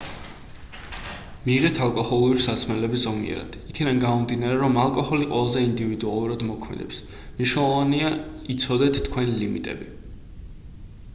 მიიღეთ ალკოჰოლური სასმელები ზომიერად იქედან გამომდინარე რომ ალკოჰოლი ყველაზე ინდივიდუალურად მოქმედებს მნიშვნელოვანი იცოდეთ თქვენი ლიმიტები